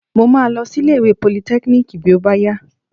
Mo máa lọ sí ilé ìwé politẹ́kíníìkì bí ó bá yá.